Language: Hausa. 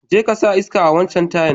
Je ka sa iska a'wancan tayan.